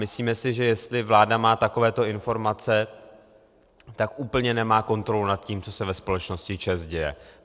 Myslíme si, že jestli vláda má takovéto informace, tak úplně nemá kontrolu nad tím, co se ve společnosti ČEZ děje.